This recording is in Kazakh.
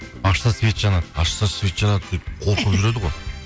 ашса свет жанады ашса свет жанады сөйтіп қорқып жүреді ғой